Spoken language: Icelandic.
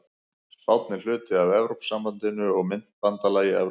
Spánn er hluti af Evrópusambandinu og myntbandalagi Evrópu.